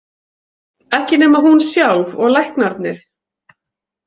Ekki nema hún sjálf og læknarnir.